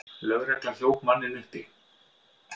Lögregla hljóp manninn uppi.